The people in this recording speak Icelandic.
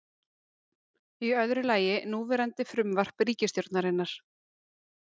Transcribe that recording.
Í öðru lagi núverandi frumvarp ríkisstjórnarinnar